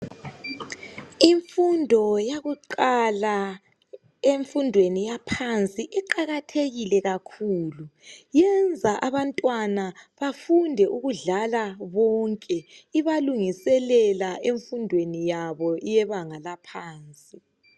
Imfundo yakuqala emfundweni yaphansi iqakathekile kakhulu yenza abantwana bafunde ukudlala bonke ibalungiselela emfundweni yaphansi.